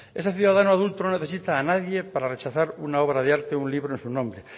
ese ciudadano adulto no necesita a nadie para rechazar una obra de arte o un libro a su nombre